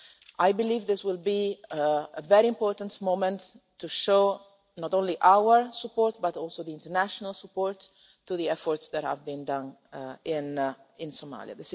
I believe this will be a very important moment, to show not only our support but also the international support for the efforts that have been made in Somalia.